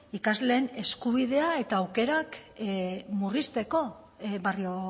ikasleen eskubidea eta aukerak murrizteko barrio